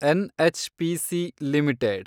NHPC limited